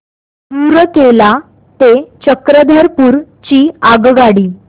रूरकेला ते चक्रधरपुर ची आगगाडी